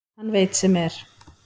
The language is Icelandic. Hann veit sem er.